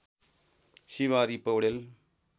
Shivhari Paudel